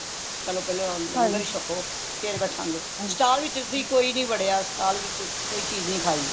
ਪਹਿਲੋਂ ਪਹਿਲੋਂ ਲੰਗਰ ਹੀ ਛਕੋ ਫੇਰ ਬੈਠਾਂ ਗੇ stall ਵਿਚ ਕੋਈ ਨਹੀਂ ਵਡਿਆ stall ਵਿਚ ਕੋਈ ਚੀਜ ਨਹੀਂ ਖਾਇ